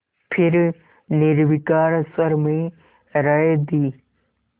फिर निर्विकार स्वर में राय दी